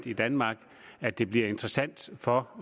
i danmark at det bliver interessant for